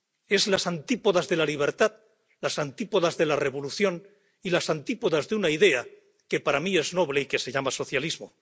Es las antípodas de la libertad, las antípodas de la revolución y las antípodas de una idea que para mí es noble y que se llama socialismo.